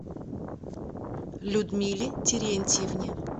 людмиле терентьевне